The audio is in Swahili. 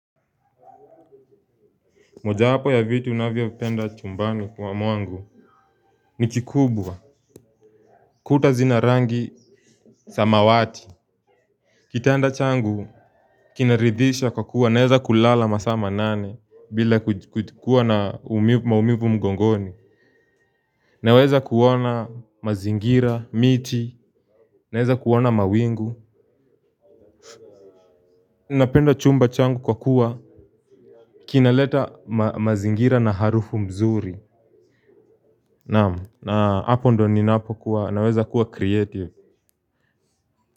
Moja wapo ya vitu ninavyo penda chumbani mwangu ni kikubwa. Kuta zina rangi samawati. Kitanda changu. Kinaridhisha kwa kuwa naweza kulala masaa manane bila kuwa na maumivu mgongoni. Naweza kuona mazingira, miti naweza kuona mawingu napenda chumba changu kwa kuwa kinaleta mazingira na harufu mzuri. Naam, na, hapo ndio ninapo kuwa, naweza kuwa creative.